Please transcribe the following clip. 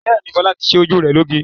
Bẹ́ẹ̀ni, Fọlá ti ṣe ojú rẹ̀ lóge.